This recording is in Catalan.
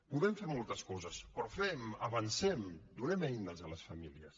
podem fer moltes coses però fem avancem donem eines a les famílies